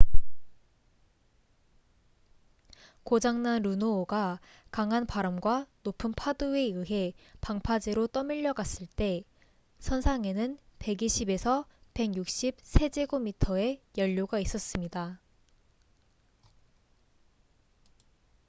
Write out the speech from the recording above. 고장 난 루노호가 강한 바람과 높은 파도에 의해 방파제로 떠밀려갔을 때 선상에는 120~160 세제곱미터의 연료가 있었습니다